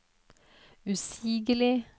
usigelig